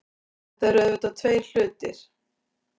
Þetta eru auðvitað tveir hlutir